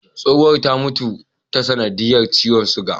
Tsohuwan ta mutu ta sanadiyar ciwon sugar.